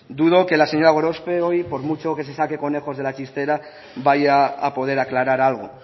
dudo que la señora gorospe hoy por mucho que se saque conejos de la chistera vaya a poder aclarar algo